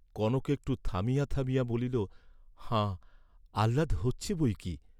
কনক একটু থামিয়া থামিয়া বলিল হাঁ আহ্লাদ হচ্ছে বই কি।